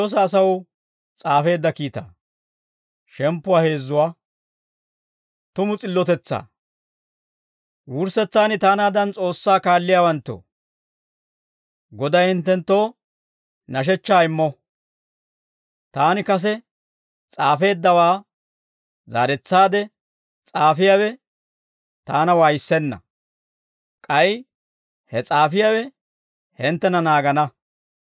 Wurssetsaan, taanaadan S'oossaa kaalliyaawanttoo, Goday hinttenttoo nashechchaa immo. Taani kase s'aafeeddawaa zaaretsaade s'aafiyaawe taana waayissenna; k'ay he s'aafiyaawe hinttena naagana.